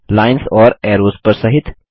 lines और arrows पर सहित